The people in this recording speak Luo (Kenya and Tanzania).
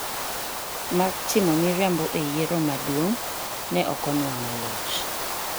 mar timo miriambo e yiero maduong’, ne ok onwang'o loch.